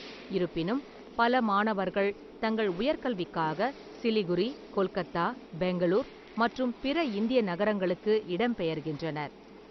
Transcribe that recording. இருப்பினும், பல மாணவர்கள் தங்கள் உயர்கல்விக்காக சிலிகுரி, கொல்கத்தா, பெங்களூர் மற்றும் பிற இந்திய நகரங்களுக்கு இடம்பெயர்கின்றனர்.